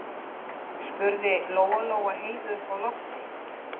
spurði Lóa-Lóa Heiðu uppi á lofti.